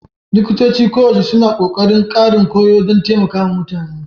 Likitoci koyaushe suna ƙoƙarin ƙarin koyo don taimaka wa mutane